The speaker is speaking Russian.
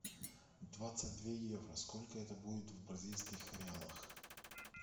двадцать два евро сколько это будет в бразильских реалах